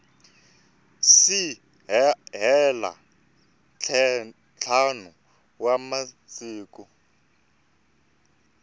si hela ntlhanu wa masiku